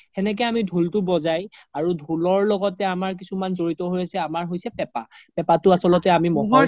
সেনেকে আমি ধুলতো বজাই আৰু ধুলৰ লগতে আমাৰ কিছুমান জৰিত হৈ আছে আমাৰ হৈছে পেপা পেপাতো আচল্তে আমি ম্'হৰ